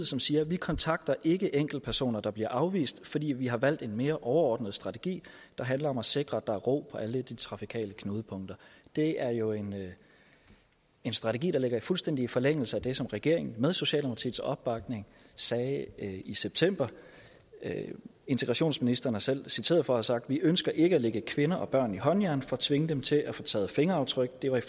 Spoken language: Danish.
som siger vi kontakter ikke enkeltpersoner der bliver afvist fordi vi har valgt en mere overordnet strategi der handler om at sikre at der er ro på alle trafikale knudepunkter det er jo en strategi der ligger fuldstændig i forlængelse af det som regeringen med socialdemokratiets opbakning sagde i september integrationsministeren selv er citeret for at have sagt vi ønsker ikke at lægge kvinder og børn i håndjern for at tvinge dem til at få taget fingeraftryk det var i